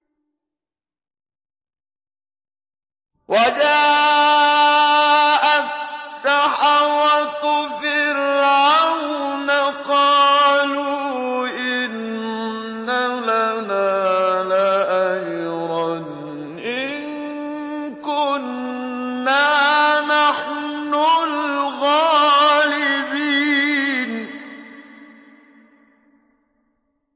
وَجَاءَ السَّحَرَةُ فِرْعَوْنَ قَالُوا إِنَّ لَنَا لَأَجْرًا إِن كُنَّا نَحْنُ الْغَالِبِينَ